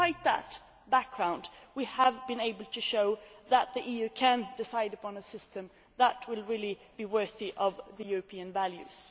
Despite that backdrop, we have been able to show that the EU can decide upon a system that will really be worthy of European values.